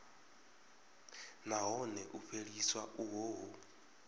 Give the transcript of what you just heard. nahone u fheliswa uho hu